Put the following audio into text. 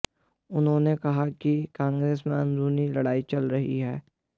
उन्होंने कहा कि कांग्रेस में अंदरूनी लड़ाई चल रही है